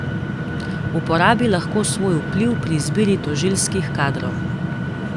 Uporabi lahko svoj vpliv pri izbiri tožilskih kadrov.